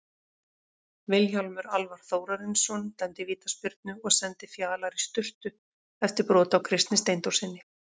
Vilhjálmur Alvar Þórarinsson dæmdi vítaspyrnu og sendi Fjalar í sturtu eftir brot á Kristni Steindórssyni.